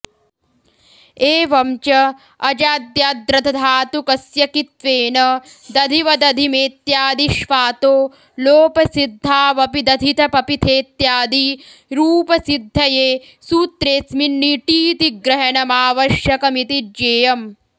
एवं च अजाद्याद्र्धधातुकस्य कित्त्वेन दधिव दधिमेत्यादिष्वातो लोपसिद्धावपि दधिथ पपिथेत्यादि रूपसिद्धये सूत्रेऽस्मिन्निटीति ग्रहणमावश्यकमिति ज्ञेयम्